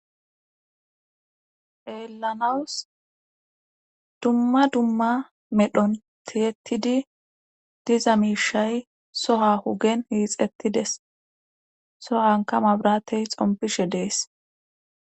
helanawus dumma dumma medhon tiyettidi diza miishay soha hugen hiixettides sohanka mabratey xompishe dees